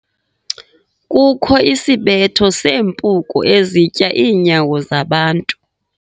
Kukho isibetho seempuku ezitya iinyawo zabantu.